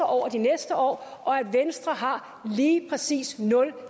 over de næste år og at venstre har lige præcis nul